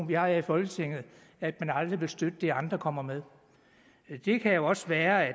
vi har her i folketinget at man aldrig vil støtte det andre kommer med det kan også være at